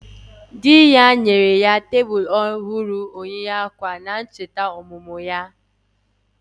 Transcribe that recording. Di ya nyere ya okpokoro echi ejikere Onwe ohuru maka ncheta ybichi omumu ya.